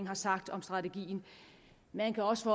har sagt om strategien man kan også